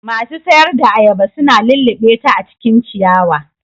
Masu sayar da ayaba su na lullubeta a cikin ciyawa.